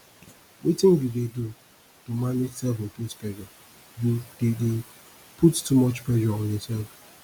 wetin you dey do to manage selfimposed pressure you dey dey put too much pressure on yourself